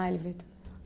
Ah, ele veio também.